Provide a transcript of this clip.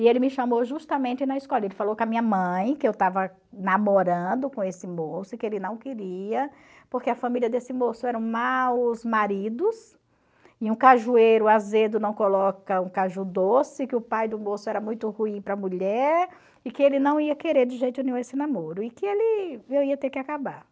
E ele me chamou justamente na escola, ele falou com a minha mãe que eu estava namorando com esse moço e que ele não queria, porque a família desse moço eram maus maridos, e um cajueiro azedo não coloca um caju doce, que o pai do moço era muito ruim para a mulher, e que ele não ia querer de jeito nenhum esse namoro, e que ele eu ia ter que acabar.